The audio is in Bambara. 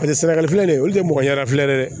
Paseke sɛnɛgali filɛ nin ye olu tɛ mɔgɔ ɲɛ da filen ye dɛ